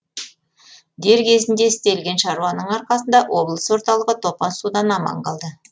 дер кезінде істелген шаруаның арқасында облыс орталығы топан судан аман қалды